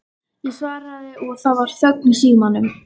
Ég svaraði og það var þögn í símanum.